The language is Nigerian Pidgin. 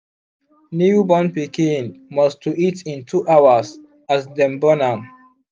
new born pikin must to eat in 2hrs as dem born am